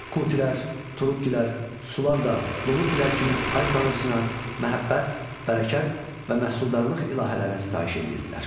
Kutilər, Turukkilər, Sulular da Lulubbilər kimi ay tanrısına, məhəbbət, bərəkət və məhsuldarlıq ilahələrinə sitayiş edirdilər.